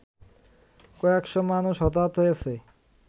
কয়েকশ মানুষ হতাহত হয়েছে